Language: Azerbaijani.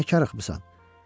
Nəkarıxmısan?